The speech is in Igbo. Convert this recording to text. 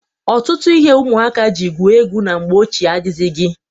Ọtụtụ ihe ụmụaka ji gwue egwu na mgbe ochie adịghịzị.